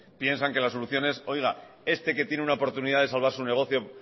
piensan que la solución es oiga este que tiene una oportunidad de salvar su negocio